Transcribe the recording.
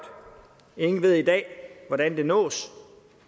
ingen ved i dag hvordan det nås